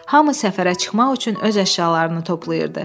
Hamı səfərə çıxmaq üçün öz əşyalarını toplayırdı.